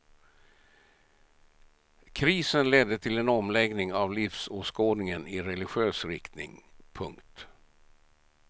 Krisen ledde till en omläggning av livsåskådningen i religiös riktning. punkt